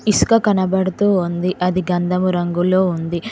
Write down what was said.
ఇసుక కనబడుతూ ఉంది అది గంధము రంగులో ఉంది.